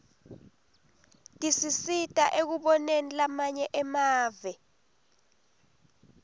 tisisita ekuboneni lamanye emave